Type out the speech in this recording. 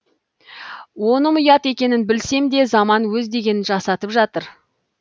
оным ұят екенін білсем де заман өз дегенін жасатып жатыр